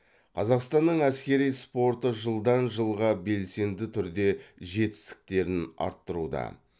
қазақстанның әскери спорты жылдан жылға белсенді түрде жетістіктерін арттыруда